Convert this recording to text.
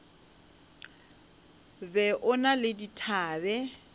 be o na le dithabe